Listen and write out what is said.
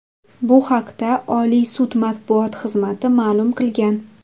Bu haqda Oliy sud matbuot xizmati ma’lum qilgan .